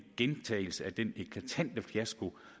gentagelse af den eklatante fiasko